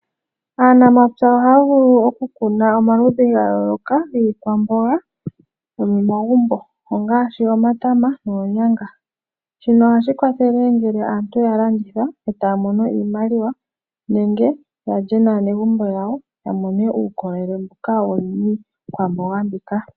Aanamapya ohaya vulu okukuna omaludhi ga yooloka giikwamboga yomomagumbo ongaashi omatama noonyanga. Shino ohashi kwathele ngele aantu ya landitha etaya mono iimaliwa nenge ya lye naanegumbo lyawo ya mone uukolele mbuka wuli miikwamboga mbika.